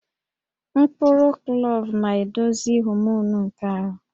Mkpụrụ klove na-edozi homonụ nke ahụ